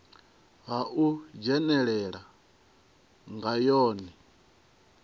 ha u dzhenelela nga yone